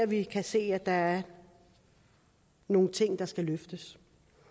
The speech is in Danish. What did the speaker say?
vi kan se at der er nogle ting der skal løftes